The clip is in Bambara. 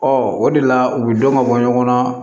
Ɔ o de la u bɛ dɔn ka bɔ ɲɔgɔn na